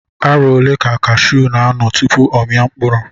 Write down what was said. Arọ ole ka osisi kashuu n'anọ tupu ọ mia mkpụrụ?